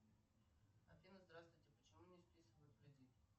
афина здравствуйте почему не списывают кредит